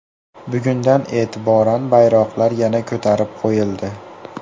Bugundan e’tiboran bayroqlar yana ko‘tarib qo‘yildi.